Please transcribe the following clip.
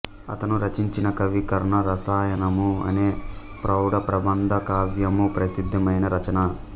అతను రచించిన కవి కర్ణ రసాయనము అనే ప్రౌఢ ప్రబంధ కావ్యము ప్రసిద్ధమైన రచన